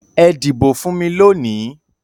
Ẹ dìbò fún mi lónìí!